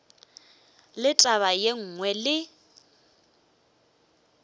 le taba ye nngwe le